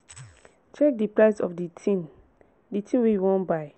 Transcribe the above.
check di price of di thing di thing wey you wan buy